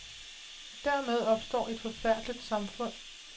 Dermed opstår et forfærdeligt samfund.